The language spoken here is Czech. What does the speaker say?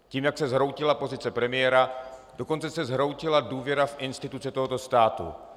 Tím, jak se zhroutila pozice premiéra, dokonce se zhroutila důvěra v instituce tohoto státu.